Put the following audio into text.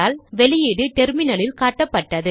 output டெர்மினலில் காட்டப்பட்டது